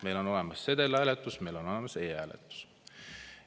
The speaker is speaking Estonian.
Meil on olemas sedelhääletus, meil on olemas e-hääletus.